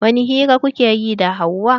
Wani hira kuke yi da Hauwa?